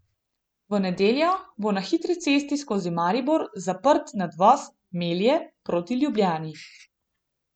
V nedeljo bo na hitro cesti skozi Maribor zaprt nadvoz Melje proti Ljubljani.